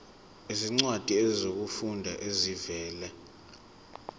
izincwadi zokufunda ezivela